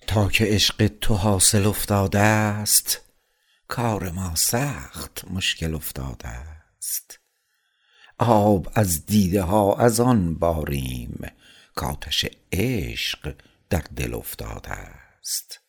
تا که عشق تو حاصل افتادست کار ما سخت مشکل افتادست آب از دیده ها از آن باریم کاتش عشق در دل افتادست